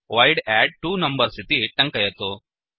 void add two numbers इति टङ्कयतु